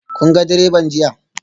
Kun ga direban jiya?